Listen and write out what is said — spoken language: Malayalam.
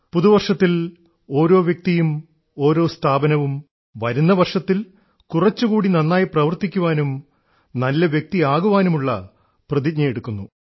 പുതുവർഷത്തിൽ ഓരോ വ്യക്തിയും ഓരോ സ്ഥാപനവും വരുന്ന വർഷത്തിൽ കുറച്ചുകൂടി നന്നായി പ്രവർത്തിക്കാനും നല്ല വ്യക്തി ആകാനും ഉള്ള പ്രതിജ്ഞയെടുക്കുന്നു